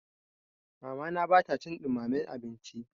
Mamana ba ta cin ɗumamen abinci.